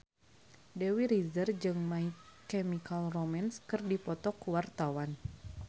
Dewi Rezer jeung My Chemical Romance keur dipoto ku wartawan